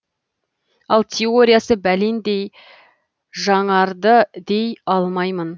ал теориясы бәлендей жаңарды дей алмаймын